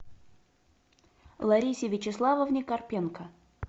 ларисе вячеславовне карпенко